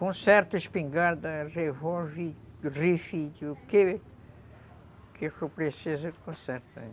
Conserto espingarda, revólver, rifle, o que que eu preciso eu conserto aí.